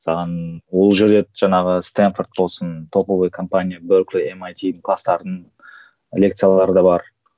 саған ол жерде жаңағы стэнфорд болсын топовый компания беркли эмайтидің кластардың лекциялары да бар